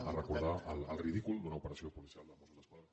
a recordar el ridícul d’una operació policial dels mossos d’esquadra